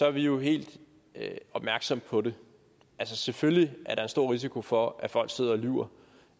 at vi jo er helt opmærksomme på det altså selvfølgelig er der en stor risiko for at folk sidder og lyver